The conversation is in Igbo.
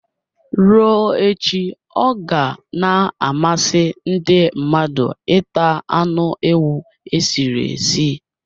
Ruo echi ọ ga na-amasị ndị mmadụ ita anụ ewu e sịrị esi